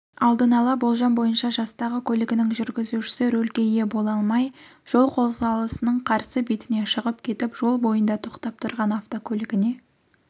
алдын-ала болжам бойынша жастағы көлігінің жүргізушісі рөлге ие бола алмай жол қозғалысының қарсы бетіне шығып кетіп жол бойында тоқтап тұрған автокөлігіне